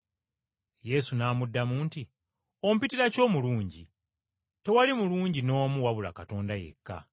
Yesu n’amuddamu nti, “Ompitira ki omulungi? Tewali mulungi n’omu wabula Katonda yekka.